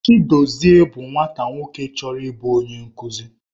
Chidozie bụ nwata nwoke chọrọ ịbụ onye nkuzi.